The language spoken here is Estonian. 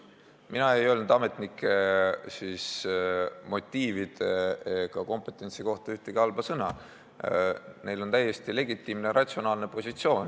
Mina ei öelnud ametnike motiivide ega kompetentsi kohta ühtegi halba sõna, neil on täiesti legitiimne ratsionaalne positsioon.